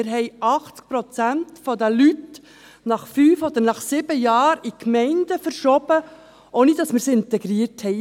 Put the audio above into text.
Wir verschoben 80 Prozent der Leute nach fünf oder sieben Jahren in die Gemeinden, ohne dass wir sie integriert hatten.